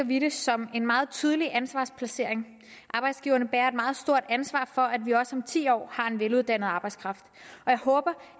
vi det som en meget tydelig ansvarsplacering arbejdsgiverne bærer et meget stort ansvar for at vi også om ti år har en veluddannet arbejdskraft og jeg håber